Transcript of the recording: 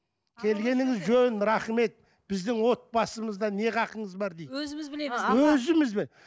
келгеніңіз жөн рахмет біздің отбасымызда не хақыңыз бар дейді өзіміз білеміз өзіміз